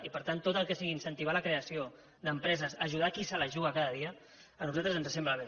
i per tant tot el que sigui incentivar la creació d’empreses ajudar a qui se la juga cada dia a nosaltres ens sembla bé